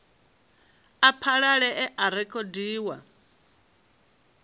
a phanele a a rekhodiwa